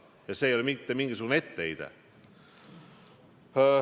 Ja see ei ole mitte mingisugune etteheide.